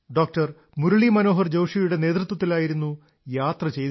മുരളീ മനോഹർ ജോഷിയുടെ നേതൃത്വത്തിലായിരുന്നു യാത്ര ചെയ്തിരുന്നത്